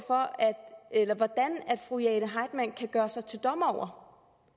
hvordan fru jane heitmann kan gøre sig til dommer over